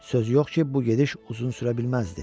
Söz yox ki, bu gediş uzun sürə bilməzdi.